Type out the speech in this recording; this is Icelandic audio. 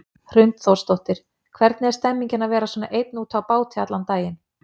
Hrund Þórsdóttir: Hvernig er stemmingin að vera svona einn úti á báti allan daginn?